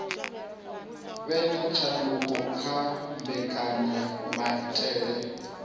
vhe na tshanduko kha mbekanyamaitele